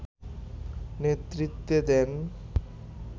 নেতৃত্বে দেন